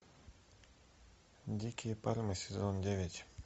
дикие пальмы сезон девять